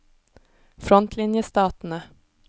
frontlinjestatene